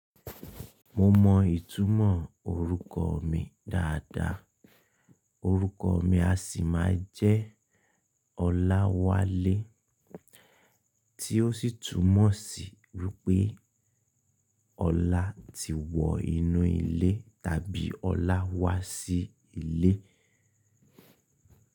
Mo mọ ìtumọ̀ orúkọ mi dáadáa. Orúkọ mi a sì máa jẹ́ Olawale, tí ó sì túmọ̀ sí wípé Ọlá ti wọ inú ilé tàbí Ọlá wá sí ilé.